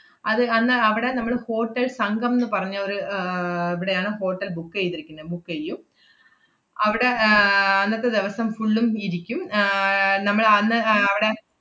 അത് അന്ന് അവടെ നമ്മള് ഹോട്ടൽ സംഘം ~ന്ന് പറഞ്ഞ ഒരു ഏർ ഇവിടെയാണ് hotel book എയ്തിരിക്കുന്നെ book എയ്യും. അവടെ ആഹ് അന്നത്തെ ദെവസം full ഉം ഇരിക്കും ആഹ് നമ്മളന്ന് ആഹ് അവടെ,